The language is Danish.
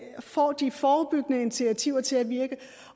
får de forebyggende initiativer til at virke